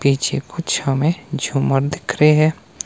पीछे कुछ हमें झूमर दिख रही है।